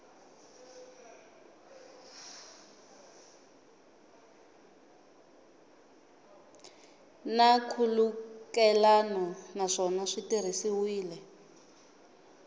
na nkhulukelano naswona swi tirhisiwile